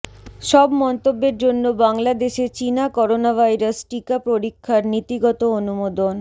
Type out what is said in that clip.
সব মন্তব্যের জন্য বাংলাদেশে চীনা করোনাভাইরাস টিকা পরীক্ষার নীতিগত অনুমোদন